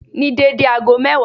Ní dédé ago mẹ́wàá